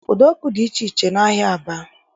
Udo ọkụ dị iche iche n'ahịa Aba